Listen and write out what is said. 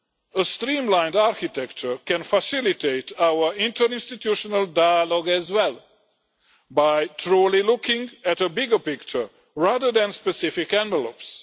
A streamlined architecture can facilitate our interinstitutional dialogue as well, by truly looking at the bigger picture, rather than specific envelopes.